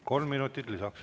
Kolm minutit lisaks.